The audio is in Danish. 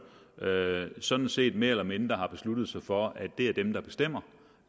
sådan set mere eller mindre har besluttet sig for at det er dem der bestemmer